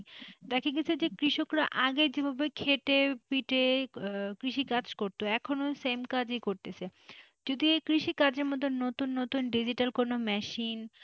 দেখা গেছে যে কৃষকরা আগে যেভাবে খেটে পিটে কৃষি কাজ করতো এখনো same কাজই করতেছে যদি কৃষি কাজের মধ্যে নতুন নতুন digital কোন machine,